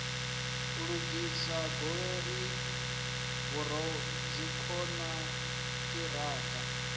u lugisa goloi vhoradzikhon ṱiraka